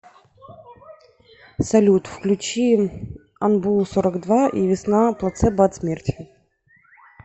салют включи анбу сорок два и весна плацебо от смерти